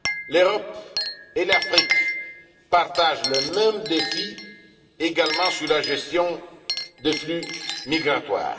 L'Europe et l'Afrique partagent le même défi également sur la gestion des flux migratoires.